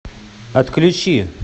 отключи